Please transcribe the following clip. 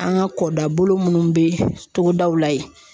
An ka kɔdabolo minnu bɛ togodaw la yen